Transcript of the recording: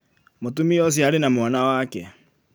mũtumia ũcio arĩ na mwana wake